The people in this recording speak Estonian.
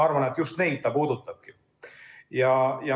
Arvan, et just neid see puudutabki.